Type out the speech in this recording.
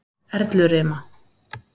Erlurima